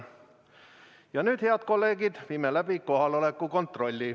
Ja nüüd, head kolleegid, viime läbi kohaloleku kontrolli.